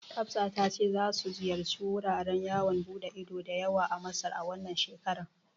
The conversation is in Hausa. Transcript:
Hafsa ta ce za su ziyarci wuraren yawon ɓude ido da yawa a Masar, wannan shekarar.